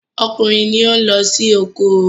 okunrin lón ló sì oko.